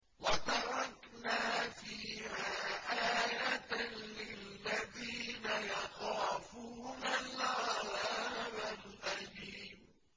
وَتَرَكْنَا فِيهَا آيَةً لِّلَّذِينَ يَخَافُونَ الْعَذَابَ الْأَلِيمَ